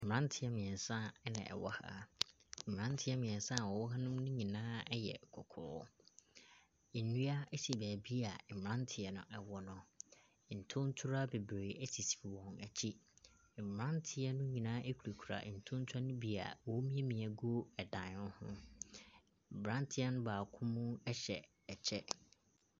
Mmranteɛ mmiɛnsa na ɛwɔ ha. Mmranteɛ mmiɛnsa a wɔwɔ ha no nyinaa ɛyɛ kɔkɔɔ. Nnua ɛsi baabi a mmranteɛ no ɛwɔ no. Ntontorowa bebree ɛsisi wɔn akyi. Mmranteɛ no nyinaa kurakura ntontorowa no bi a wɔn remiamia agu ɛdan no ho. Mmranteɛ no mu baako ɛhyɛ ɛkyɛ.